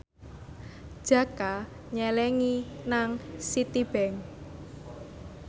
Jaka nyelengi nang Citibank